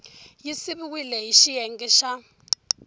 yi siviwile hi xiyenge xa